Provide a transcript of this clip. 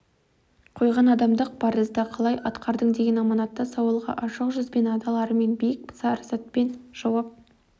қойған адамдық парызды қалай атқардың деген аманатты сауалға ашық жүзбен адал армен биік парасатпен жауап